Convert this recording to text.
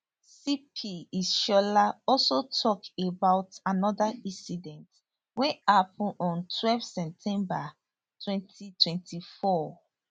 cp ishola also tok about anoda incident wey happun on twelve september 2024